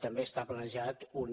també està planejada una